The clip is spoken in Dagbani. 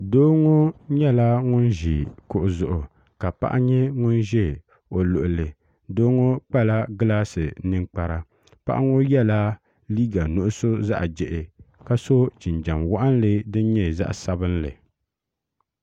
doo ŋo nyɛla ŋun ʒi kuɣu zuɣu ka paɣa nyɛ ŋun ʒɛ o luɣuli doo ŋo kpala gilaasi ninkpara paɣa ŋo yɛla liiga nuɣso zaɣ jia ka so jinjɛm waɣanli din nyɛ zaɣ sabinli